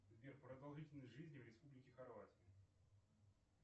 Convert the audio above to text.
сбер продолжительность жизни в республике хорватия